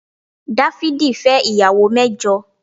Dáfídì fẹ́ ìyàwó mẹ́jọ